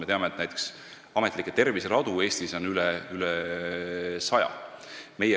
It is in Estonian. Me teame, et ametlikke terviseradu on Eestis üle saja.